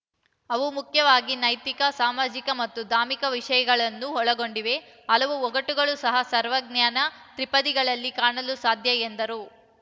ಅವು ಮುಖ್ಯವಾಗಿ ನೈತಿಕ ಸಾಮಾಜಿಕ ಮತ್ತು ಧಾರ್ಮಿಕ ವಿಷಯಗಳನ್ನು ಒಳಗೊಂಡಿವೆ ಹಲವು ಒಗಟುಗಳು ಸಹ ಸರ್ವಜ್ಞನ ತ್ರಿಪದಿಗಳಲ್ಲಿ ಕಾಣಲು ಸಾಧ್ಯ ಎಂದರು